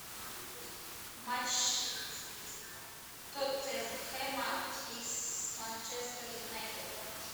матч тоттенхэма и с манчестер юнайтед